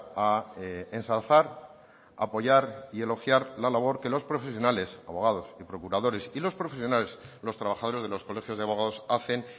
a ensalzar apoyar y elogiar la labor que los profesionales abogados y procuradores y los profesionales los trabajadores de los colegios de abogados hacen